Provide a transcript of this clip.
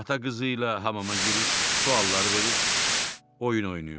Ata qızı ilə hamama girir, sualları verir, oyun oynayırdı.